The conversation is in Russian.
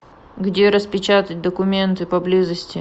где распечатать документы поблизости